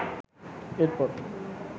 এর পর